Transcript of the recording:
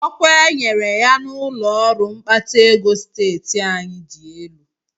Ọkwa e nyere ya n'ụlọọrụ mkpata ego steeti anyị dị elu